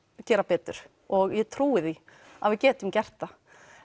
gera betur og ég trúi því að við getum gert það